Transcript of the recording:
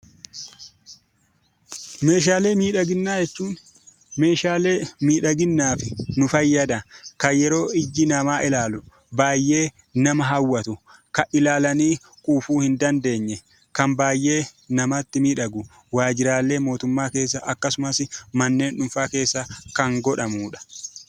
Meeshaalee miidhaginaa jechuun meeshaalee miidhaginaaf nu fayyadan; kan yeroof ijji namaa ilaalu baay'ee nama hawwatu; kan ilaalanii quufuu hin dandeenye; kan baay'ee namatti miidhagu; waajjiraalee mootummaa keessa akkasumas manneen dhuunfaa keessa kan godhamudha.